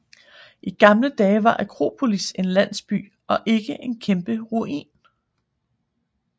I gamle dage var Akropolis en landsby og ikke en kæmpe ruin